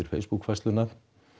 Facebook færsluna